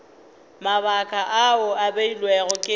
mabaka ao a beilwego ke